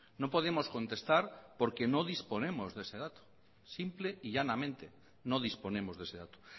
no podemos contestar porque no disponemos de ese dato simple y llanamente no disponemos de ese dato